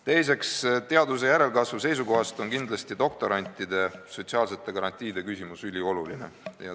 Teiseks, teaduse järelkasvu seisukohast on kindlasti ülioluline doktorantide sotsiaalsete garantiide küsimus.